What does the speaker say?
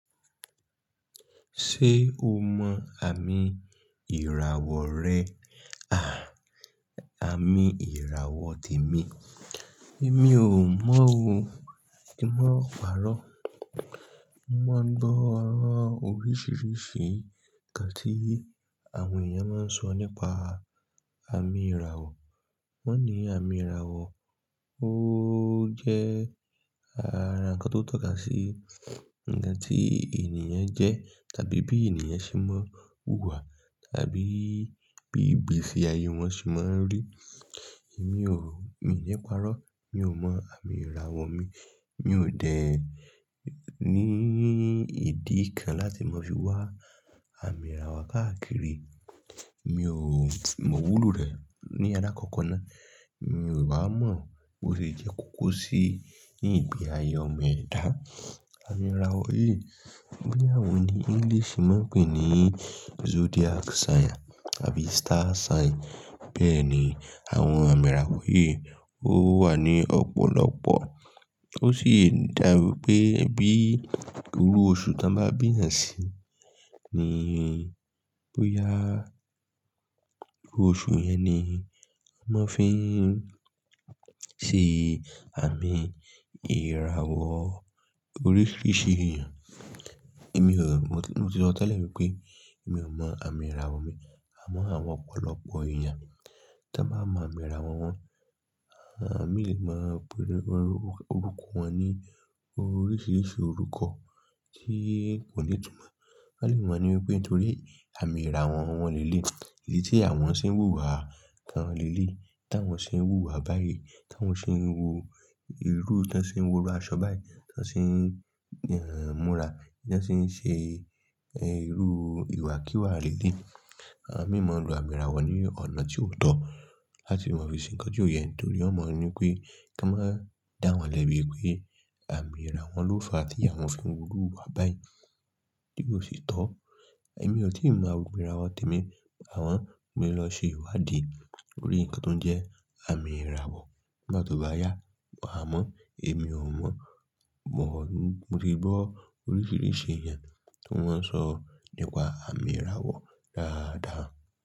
Ṣé o mọ àmì ìràwọ̀ rẹ à àmì ìràwọ̀ tèmi? Èmi ò mọ̀ o. Kí n máa pàrọ̀. Mo máa ń gbọ́ ooo oríṣìíríṣìí ǹkan tí àwọn èèyàn máa ń sọ nípa àmì ìràwọ̀. Wọ́n ní àmì ìràwọ̀ ó jẹ́ àranko tó tọ́ka sí ǹkan tí ènìyàn jẹ́ tàbí bí ènìyàn ṣe máa ń hùwà tàbí bí igbesí ayé wọn ṣe máa ń rì. Èmi ò mi ò ní pàrọ́. Mi ò mọ àmì ìràwọ̀ mi. Mi ò dẹ̀ ní ìdí kan láti mọ̀ fí wá àmì ìràwọ̀ káàkiri. Mi ò mọ iwúlo rẹ̀ ní àlákọ́kọ́ ná. Mi ò wá mọ̀ bó ṣe jẹ́ kókó sí ni ìgbè ayé ọmọ ẹ̀dá. Àmì ìràwọ̀ yìí bí àwọn ní English máa ń pè é ní zodiac sign àbí star sign. Bẹ́ẹ̀ ni àwọn àmì ìràwọ̀ yìí ó wà ní ọ̀pọ̀lọpọ̀. Ó sì dá wipé bí irú oṣù tí wọ́n bá bí èèyàn sí ni bóyá oṣù yẹn ni a máa fi ń ṣe àmì ìràwọ̀ oríṣìíríṣìí èèyàn. Èmi ò mo ti sọ tẹ́lẹ̀ wípé èmi ò mọ àmì ìràwọ̀ mi. A mọ àwọn ọ̀pọ̀lọpọ̀ èèyàn tí a máa mọ àmì ìràwọ̀ wọn. Àwon mì lè máa pe orúkọ wọn ní oríṣìíríṣìí orúkọ tí kò ní túmọ̀. Won le ma ni wípé nítorí àmì ìràwọ̀ wọn le léyii, ìdí tí àwọn ṣe ń hùwà kan le léyii, tí àwọn ṣe ń hùwà báyìí, tí àwọn ṣe ń wo irú, tí wọ́n ṣe ń wo irú aṣọ báyìí, tí wọ́n sì ń múra, tí wọ́n sì ń ṣe irú ìwà kíwà le léyii. Àwon mì maa lo ami ìràwọ̀ ní ọ̀nà tí ó tọ́ láti mọ̀ fí ǹkan ti kó yẹn nítorí won mọ ní pé tí a máa dá wọn lẹ́bi pé àmì ìràwọ̀ ló fa tí àwọn fi ń wúru hùwà báyìí, tí ó sì tọ́. Èmi ò tíì mọ àmì ìràwọ̀ tèmi. Àmọ mo le lọ ṣe ìwádìí lórí ǹkan tó jẹ́ àmì ìràwọ̀. Bá tó bá yá, màá mọ̀. Èmi ò mọ̀. Mo ti gbọ́ oríṣìíríṣìí ẹ̀yàn tí wọ́n ń sọ nípa àmì ìràwọ̀ dáadáa.